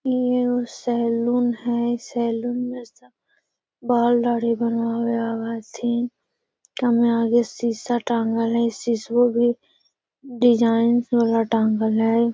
इ उ सैलून हेय सैलून मे सब बाल दाढ़ी बनावे ले आवे हथीन एकरा मे आगे शीशा टांगल हेय शीशवो भी स डिजाइन वाला टांगल हेय।